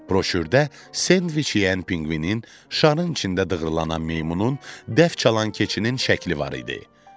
Broşürdə sendviç yeyən pinqvinin, şarın içində dığırlanan meymunun, dəf çalan keçinin şəkli var idi.